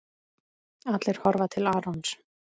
Allir horfa til Arons.